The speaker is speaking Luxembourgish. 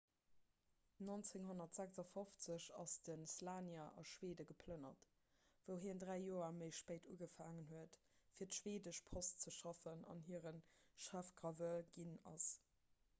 1956 ass de słania a schwede geplënnert wou hien dräi joer méi spéit ugefaangen huet fir d'schweedesch post ze schaffen an hire chefgraveur ginn ass